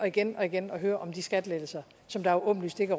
igen og igen at høre om de skattelettelser som der jo åbenlyst ikke